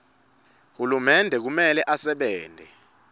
hulumende kumele asebente